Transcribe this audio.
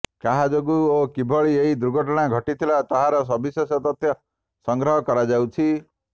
କାହା ଯୋଗୁ ଓ କିଭଳି ଏହି ଦୁର୍ଘଟଣା ଘଟିଥିଲା ତାହାର ସବିଶେଷ ତଥ୍ୟ ସଂଗ୍ରହ କରାଯାଉଛି